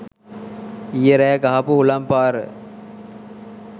ඊයෙ රෑ ගහපු හුළං පාර